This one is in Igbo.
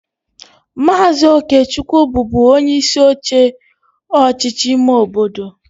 Maazị Okechukwu bụbu onyeisi oche ọchịchị ime obodo